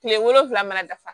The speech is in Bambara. Kile wolonfila mana dafa